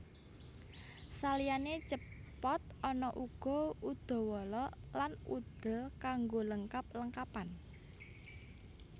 Saliyane Cepot ana uga Udawala lan Udel kanggo lengkap lengkapan